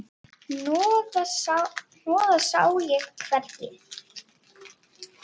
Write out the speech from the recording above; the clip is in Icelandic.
Hnoðað sá ég hvergi.